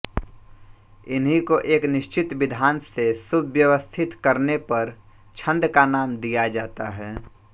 इन्हीं को एक निश्चित विधान से सुव्यवस्थित करने पर छन्द का नाम दिया जाता है